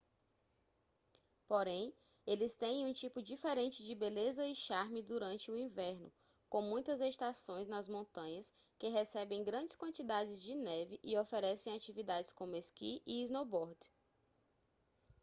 porém eles têm um tipo diferente de beleza e charme durante o inverno com muitas estações nas montanhas que recebem grandes quantidades de neve e oferecem atividades como esqui e snowboard